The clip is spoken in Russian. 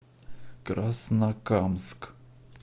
краснокамск